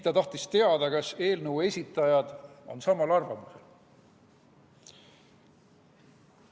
Ta tahtis teada, kas eelnõu esitajad on samal arvamusel.